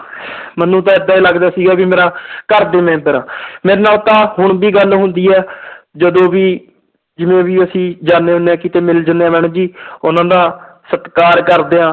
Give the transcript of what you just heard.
ਮੈਨੂੰ ਤਾਂ ਏਦਾਂ ਹੀ ਲੱਗਦਾ ਸੀਗਾ ਵੀ ਮੇਰਾ ਘਰਦੇ ਮੈਂਬਰ ਆ ਮੇਰੇ ਨਾਲ ਤਾਂ ਹੁਣ ਵੀ ਗੱਲ ਹੁੰਦੀ ਹੈ ਜਦੋਂ ਵੀ ਜਿਵੇਂ ਵੀ ਅਸੀਂ ਜਾਨੇ ਹੁੰਦੇ ਹਾਂ ਕਿਤੇ ਮਿਲ ਜਾਂਦੇ madam ਜੀ ਉਹਨਾਂ ਦਾ ਸਤਿਕਾਰ ਕਰਦੇ ਹਾਂ।